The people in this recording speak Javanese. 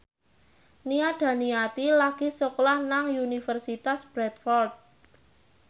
Nia Daniati lagi sekolah nang Universitas Bradford